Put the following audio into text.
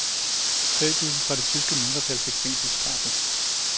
Tre tusind fra det tyske mindretal fik fængselsstraffe.